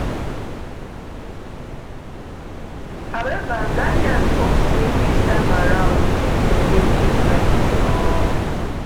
however ghanaians hope say dis time around tins go dey different um